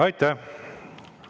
Aitäh!